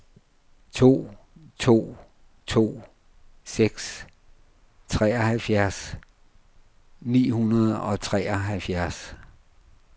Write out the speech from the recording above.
to to to seks treoghalvfjerds ni hundrede og treoghalvfjerds